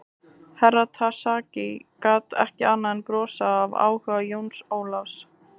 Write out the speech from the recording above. Herra Takashi gat ekki annað en brosað af áhuga Jóns Ólafs.